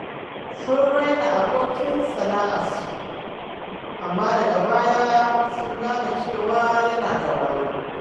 Sun raina abokin sana’arsu, amma daga baya sun gane cewa yana da wayo.